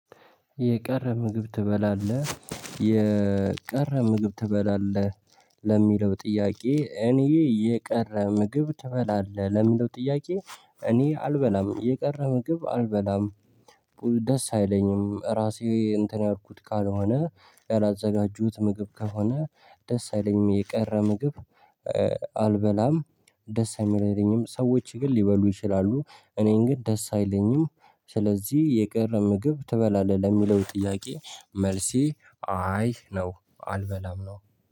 የቀረ ምግብ ትበላለህ የቀረ ምግብ ትበላለህ ለሚለው ጥያቄ እኔ የቀረ ምግብ ትበላለህ ለሚለው ጥያቄ? እኔ አልበላም የቀረ ምግብ አልበላም። ደስ አይለኝም ራሴ እንትን ያልኩት ቃል ሆነ ያላዘጋጁት ምግብ ከሆነ ደስ አይለኝም። የቀረ ምግብ አልበላም ደስ አይለኝም። ሰዎች ግን ሊበሉ ይችላሉ። እኔ እንግዲህ ደስ አይለኝም። ስለዚህ የቀረ ምግብ ትበላለህ ለሚለው ጥያቄ? መልሲ አይ ነው አልበላም ነው